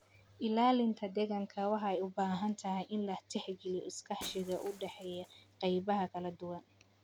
Ilaalinta deegaanka waxay u baahan tahay in la tixgeliyo iskaashiga u dhaxeeya qaybaha kala duwan.